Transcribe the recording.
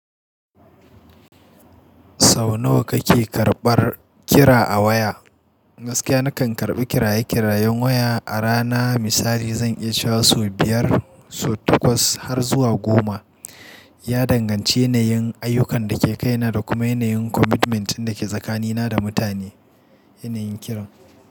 Sau nawa kake karɓar kira a waya? Gaskiya na kan karɓi kiraye-kirayen waya a rana. Misali zan iya sha so biyar, so takwas har zuwa goma. Ya danganci yanayin ayyukan da ke kaina da kuma yanayin commitment ɗin da ke tsakanina da mutane. Yanayin kiran.